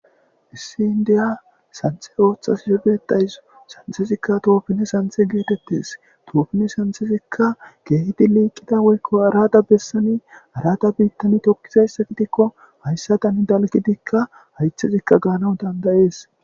Issi indiya santhe ooththashe betawus santhefikka toofine santhe geetettes toofine santhesikka keehidi liiqida woykko arada bessani arada biittani tokkizayssa gidikko hayssa tani dalgidikka haythezikka gaanaw dandayees.